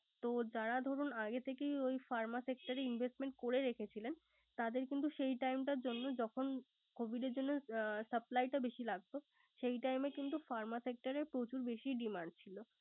তো যারা দরুন আগে থেকেই Pharma sector এ investment করে রেখে ছিল। তাদের কিন্তু time র জন্য যখন covid জন্য suppy টা বেশি লাগতো। সেই time ই কিন্তু pharma sector এ প্রচুর বেশি demand ছিল